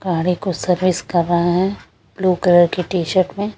गाड़ी को सर्विस कर रहे हैं ब्लू कलर की टी_शर्ट में--